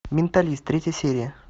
менталист третья серия